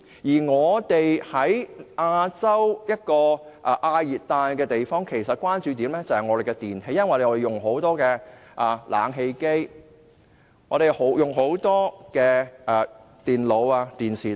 香港位於亞洲的亞熱帶地方，關注點是電器，因為香港人經常使用冷氣機、電腦、電視機等。